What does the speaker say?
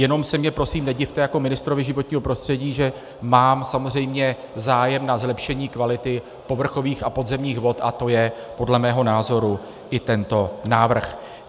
Jenom se mi prosím nedivte jako ministrovi životního prostředí, že mám samozřejmě zájem na zlepšení kvality povrchových a podzemních vod, a to je podle mého názoru i tento návrh.